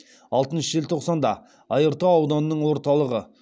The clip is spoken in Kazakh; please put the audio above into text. алтыншы желтоқсанда айыртау ауданының орталығы